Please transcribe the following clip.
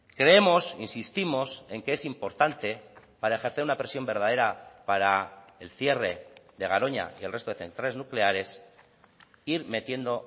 creemos insistimos en que es importante para ejercer una presión verdadera para el cierre de garoña y el resto de centrales nucleares ir metiendo